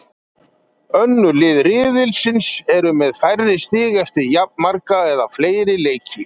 Önnur lið riðilsins eru með færri stig eftir jafnmarga eða fleiri leiki.